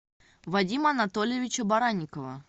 вадима анатольевича баранникова